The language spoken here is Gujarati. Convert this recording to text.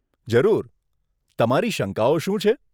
જરૂર, તમારી શંકાઓ શું છે?